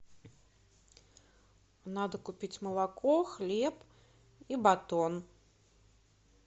надо купить молоко хлеб и батон